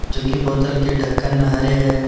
जो कि बोतल के ढक्कन हरे है।